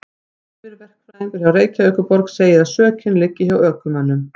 Yfirverkfræðingur hjá Reykjavíkurborg segir að sökin liggi hjá ökumönnum.